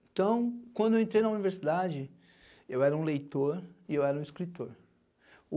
Então, quando eu entrei na universidade, eu era um leitor e eu era um escritor.